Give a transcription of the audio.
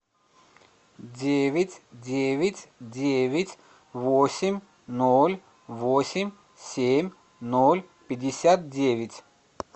девять девять девять восемь ноль восемь семь ноль пятьдесят девять